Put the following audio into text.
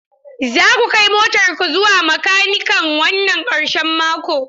Za ku kai motar ku zuwa makanikan wannan karshen mako?